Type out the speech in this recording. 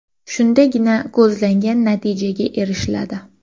Shundagina ko‘zlangan natijalarga erishiladi.